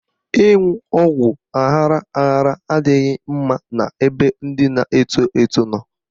Ịṅụ ọgwụ aghara aghara adịghị mma n'ebe ndị na-eto eto nọ.